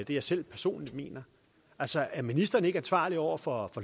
jeg selv personligt mener altså er ministeren ikke ansvarlig over for